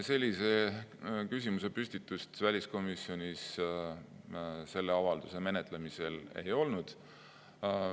Sellise küsimuse püstitust väliskomisjonis selle avalduse menetlemisel ei olnud.